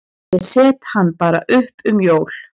Ég set hann bara upp um jól.